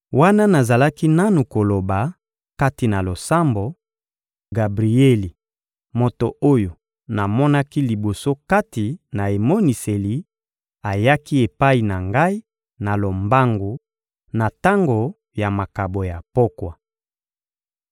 wana nazalaki nanu koloba, kati na losambo, Gabrieli, moto oyo namonaki liboso kati na emoniseli, ayaki epai na ngai na lombangu, na tango ya makabo ya pokwa.